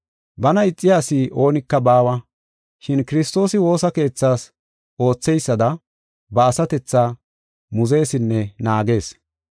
Bana ixiya asi oonika baawa, shin Kiristoosi woosa keethaas ootheysada ba asatethaa muzeesinne naagees.